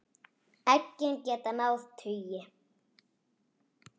Eggin geta náð tugi.